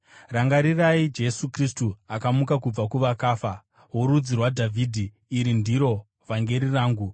Rangarirai Jesu Kristu, akamuka kubva kuvakafa, worudzi rwaDhavhidhi. Iri ndiro vhangeri rangu,